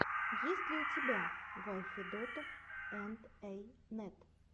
есть ли у тебя вай федотов энд эй нэт